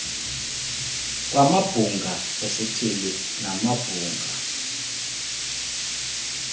kwamabhunga esithili namabhunga